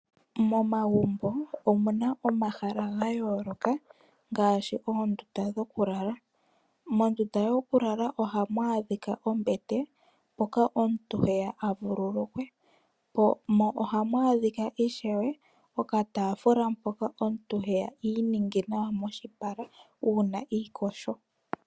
Momagumbo omuna omahala gayooloka ngaashi oondunda dhoku lala. Mondunda yoku lala ohamu adhika ombete mpoka omuntu he ya a vululukwe, mo ohamu adhika ishewe okataafula mpoka omuntu heya iininge nawa moshipala uuna iiyogo.